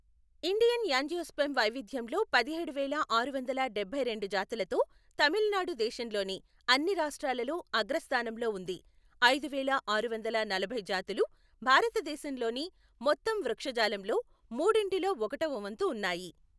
Indian angiosperm వైవిధ్యంలో పదిహేడు వేల ఆరు వందల డబ్బై రెండు జాతులతో తమిళనాడు దేశంలోని అన్ని రాష్ట్రాలలో అగ్రస్థానంలో ఉంది, ఐదువేల ఆరు వందల నలభై జాతులు భారతదేశంలోని మొత్తం వృక్షజాలంలో మూడింటిలో ఒకటవ వంతు ఉన్నాయి.